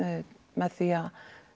með því að